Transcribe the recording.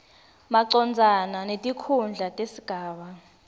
macondzana netikhundla tesigaba